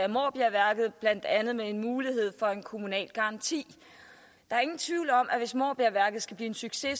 måbjergværket blandt andet med en mulighed for en kommunal garanti der er ingen tvivl om at hvis måbjergværket skal blive en succes